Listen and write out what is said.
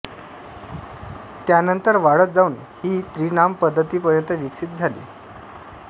त्यानंतर वाढत जाऊन ही त्री नाम पद्धती पर्यंत विकसित झाली